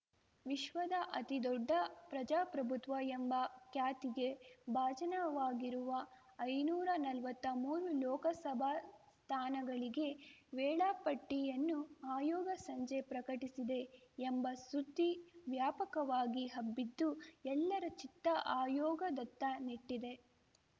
ವಿಶ್ವದ ಅತಿ ದೊಡ್ಡ ಪ್ರಜಾಪ್ರಭುತ್ವ ಎಂಬ ಖ್ಯಾತಿಗೆ ಭಾಜನವಾಗಿರುವ ಐನೂರಾ ನಲ್ವತ್ತಾ ಮೂರು ಲೋಕಸಭಾ ಸ್ಥಾನಗಳಿಗೆ ವೇಳಾಪಟ್ಟಿಯನ್ನು ಆಯೋಗ ಸಂಜೆ ಪ್ರಕಟಿಸಿದೆ ಎಂಬ ಸುದ್ದಿ ವ್ಯಾಪಕವಾಗಿ ಹಬ್ಬಿದ್ದು ಎಲ್ಲರ ಚಿತ್ತ ಆಯೋಗದತ್ತ ನೆಟ್ಟಿದೆ